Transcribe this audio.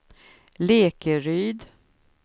Lekeryd